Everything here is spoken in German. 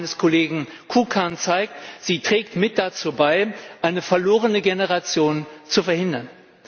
Der Bericht meines Kollegen Kukan zeigt, sie trägt mit dazu bei, eine verlorene Generation zu verhindern.